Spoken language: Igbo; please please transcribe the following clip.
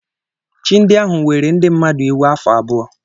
Chi ndị ahụ were ndị mmadụ iwe afọ abụọ.